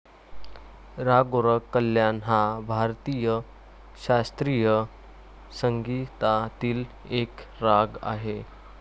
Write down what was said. राग गोरख कल्याण हा भारतीय शास्त्रीय संगीतातील एक राग आहे.